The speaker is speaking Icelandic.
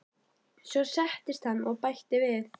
Svo settist hann og bætti við